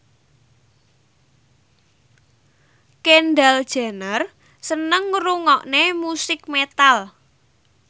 Kendall Jenner seneng ngrungokne musik metal